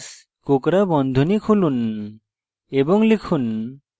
কোঁকড়া বন্ধনী খুলুন এবং লিখুন